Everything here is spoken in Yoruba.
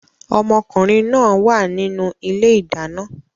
Ọmọkùnrin náà wà nínú ilé-ìdáná